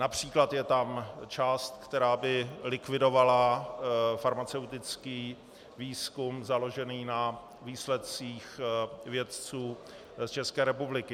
Například je tam část, která by likvidovala farmaceutický výzkum založený na výsledcích vědců z České republiky.